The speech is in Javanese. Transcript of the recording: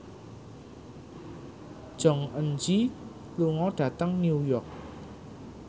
Jong Eun Ji lunga dhateng New York